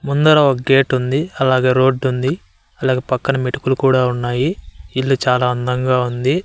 ముందర ఒక గేట్ ఉంది అలాగే రోడ్డు ఉంది అలాగే పక్కన మెటుకులు కూడా ఉన్నాయి ఇల్లు చాలా అందంగా ఉంది.